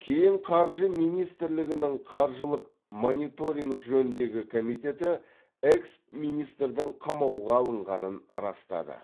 кейін қаржы министрлігінің қаржылық мониторинг жөніндегі комитеті экс министрдің қамауға алынғанын растады